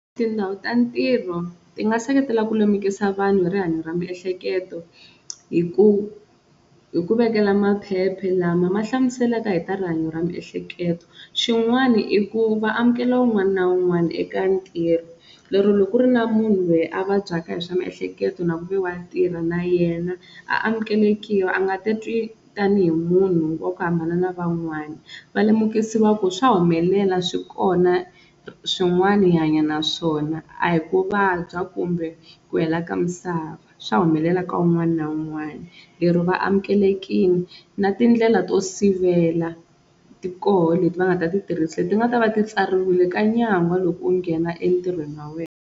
Tindhawu ta ntirho ti nga seketela ku lemikisa vanhu hi rihanyo ra miehleketo hi ku hi ku vekela maphephe lama ma hlamuselaka hi ta rihanyo ra miehleketo xin'wana i ku va amukela un'wana na un'wana eka ntirho, lero loko ku ri na munhu loyi a vabyaka hi swa miehleketo na ku ve wa tirha na yena a amukelekiwa a nga ta twi tanihi munhu wa ku hambana na van'wana, va lemukisiwa ku swa humelela swi kona swin'wana hi hanya na swona a hi ku vabya kumbe ku hela ka misava swa humelela ka wun'wana na wun'wana lero vaamukelekile na tindlela to sivela ti koho leti va nga ta ti tirhisa leti nga ta va ti tsariwile ka nyangwa loko u nghena entirhweni wa wena.